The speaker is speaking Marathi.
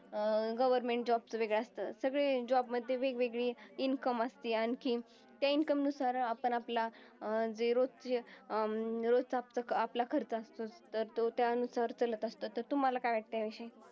अं government job चं वेगळं असतं. सगळे job मध्ये वेगवेगळे income असती आणखीन त्या income नुसार आपण आपला अं जे अं रोजचा आपला खर्चा असतं तर तो त्यानुसार तर तुम्हाला काय वाटतंय याविषयी?